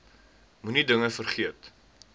moenie dinge vergeet